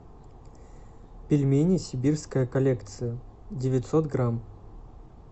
пельмени сибирская коллекция девятьсот грамм